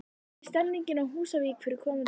Hvernig er stemmingin á Húsavík fyrir komandi sumar?